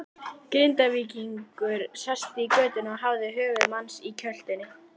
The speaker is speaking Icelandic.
Grindvíkingur sestur í götuna og hafði höfuð manns í kjöltunni.